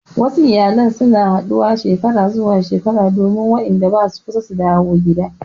Wasu iyalai na haɗuwa Shekara zuwa shekara domin Wanda basu kusa su dawo gida.